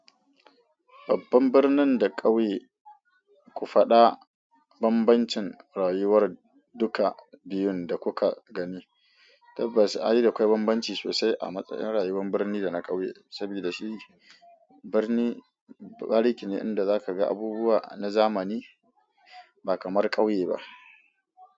Babban birnin da ƙauye, ku faɗa bambancin rayuwar duka biyun da kuka gani. Tabbas, a yi da akwai bambanci sosai a matsayin rayuwar birni da na ƙauye. Sabida shi barni bariki ne in da zaka ga abubuwa na zamani ba kamar ƙauye ba.